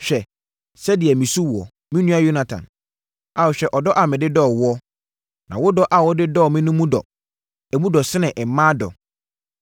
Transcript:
Hwɛ sɛdeɛ mesu woɔ, me nua Yonatan; Ao, hwɛ ɔdɔ a mede dɔɔ woɔ! Na wo dɔ a wode dɔɔ me no mu dɔ; emu dɔ sene mmaa dɔ!